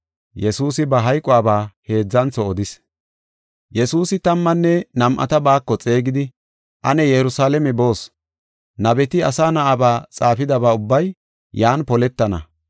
Yesuusi tammanne nam7ata baako xeegidi, “Ane Yerusalaame boos, nabeti Asa Na7aba xaafidaba ubbay yan poletana.